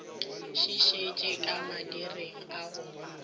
šišitše ka madireng a go